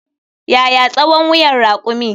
Yaya tsawon wuyan rakumi?